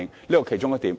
這是其中一點。